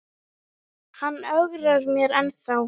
En hann ögrar mér ennþá.